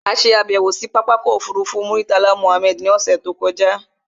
A ṣe àbẹ̀wò sí pápákọ̀ ọkọ̀ òfurufú Murtala Mohammed ní ọ̀ṣẹ̀ tó kọjá